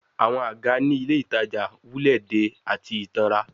Awọn aga ni Ile Itaja wulẹ de ati itanran